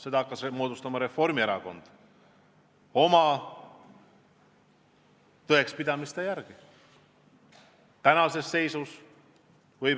Seda hakkas moodustama Reformierakond oma tõekspidamiste järgi.